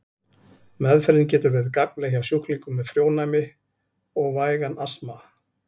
Meðferðin getur verið gagnleg hjá sjúklingum með frjónæmi og vægan astma.